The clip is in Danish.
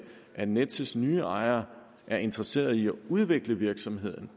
at nets nye ejere er interesseret i at udvikle virksomheden